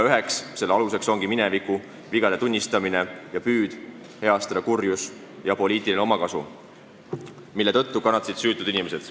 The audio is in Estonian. Üheks selle eelduseks ongi mineviku vigade tunnistamine ning püüd heastada kurjus ja poliitilise omakasu tagaajamine, mille tõttu kannatasid süütud inimesed.